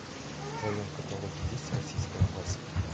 в твоем каталоге есть российская классика